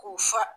K'u fa